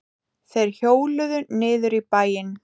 Þeir hjóluðu niður í bæinn.